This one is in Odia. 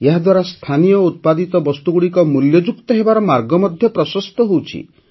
ଏହାଦ୍ୱାରା ସ୍ଥାନୀୟ ଉତ୍ପାଦିତ ବସ୍ତୁଗୁଡ଼ିକ ମୂଲ୍ୟଯୁକ୍ତ ହେବାର ମାର୍ଗ ମଧ୍ୟ ପ୍ରଶସ୍ତ ହେଉଛି